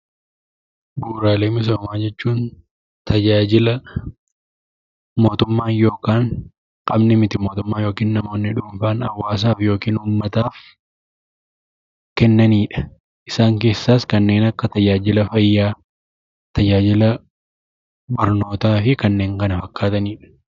Bu'uuraalee misoomaa jechuun tajaajila mootummaan yookaan qaamni Miti-Mootummaa yookiin immoo namoonni dhuunfaan hawaasaaf yookiin uummataaf kennanidha. Isaan keessaas kanneen akka tajaajila fayyaa, tajaajila barnootaa fi kanneen kana fakkaatanidha.